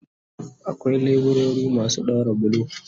Akwai leburori masu daura bulo